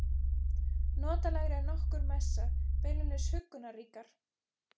Notalegri en nokkur messa, beinlínis huggunarríkar.